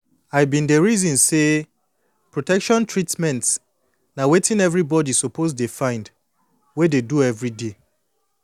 i dey reason say protection treatment na wetin everybody suppose dey find wey dey do everyday